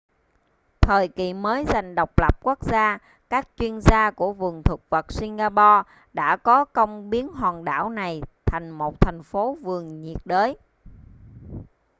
thời kỳ mới giành độc lập quốc gia các chuyên gia của vườn thực vật singapore đã có công biến hòn đảo này thành một thành phố vườn nhiệt đới